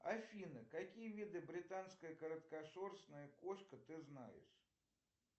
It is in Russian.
афина какие виды британская короткошерстная кошка ты знаешь